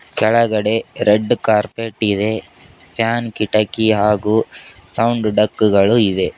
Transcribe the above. ಕೆಳಗಡೆ red carpet ಇದೆ fan ಕಿಟಕಿ ಹಾಗೂ ಸೌಂಡ್ ಡಕ್ಕುಗಳು ಇವೆ.